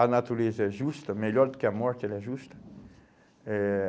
A natureza é justa, melhor do que a morte, ela é justa. Eh